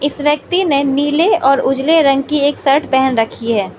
इस व्यक्ति ने नीले और उजले रंग की एक शर्ट पहन रखी है।